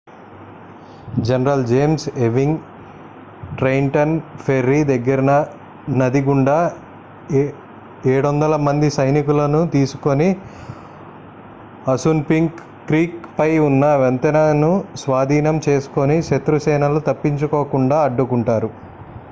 general James Ewing Trenton ferry దగ్గర నది గుండా 700మంది సైనికులని తీసుకొని అసున్పింక్ క్రీక్ పై ఉన్న వంతెనను స్వాధీనం చేసుకుని శత్రు సేనలు తప్పించుకోకుండా అడ్డుకుంటారు